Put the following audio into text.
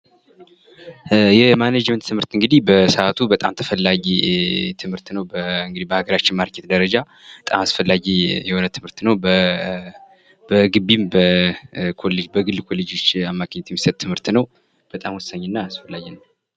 የማኔጅመንት ትምህርት እንግድህ በሰዓቱ በጣም ተፈላጊ ትምህርት ነው በሀገራችን በማርኬቱ ደረጃ በጣም አስፈላጊ የሆነ ትምህርት ነው በግቢም በግል ኮሌጅም በግል ኮሌጆች የሚሰጥ አይነት ትምህርት ነው። በጣም አስፈላጊ ትምህርት ነው።